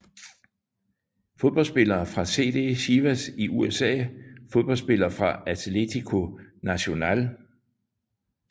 Fodboldspillere fra CD Chivas USA Fodboldspillere fra Atlético Nacional